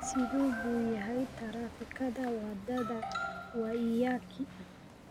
Sidee buu yahay taraafikada Waddada Waiyaki?